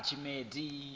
tshimedzi